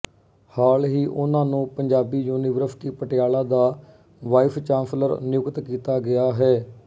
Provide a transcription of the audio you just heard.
ਹਾਲ ਹੀ ਉਨ੍ਹਾਂ ਨੂੰ ਪੰਜਾਬੀ ਯੂਨੀਵਰਸਿਟੀ ਪਟਿਆਲਾ ਦਾ ਵਾਈਸਚਾਂਸਲਰ ਨਿਯੁਕਤ ਕੀਤਾ ਗਿਆ ਹੇੈ